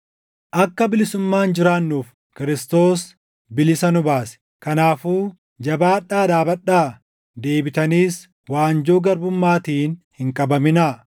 Akka bilisummaan jiraannuuf Kiristoos bilisa nu baase. Kanaafuu jabaadhaa dhaabadhaa! Deebitaniis waanjoo garbummaatiin hin qabaminaa.